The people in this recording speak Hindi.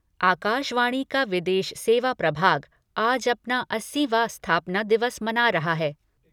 आकाशवाणी का विदेश सेवा प्रभाग आज अपना अस्सीवां स्थापना दिवस मना रहा है।